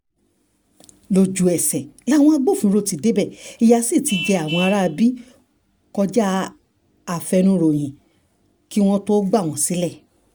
lójú-ẹsẹ̀ làwọn agbófinró náà ti débẹ̀ ìyà sí ti jẹ àwọn aráabí kọjá afẹnuròyìn kí wọ́n tóó gbà wọ́n sílẹ̀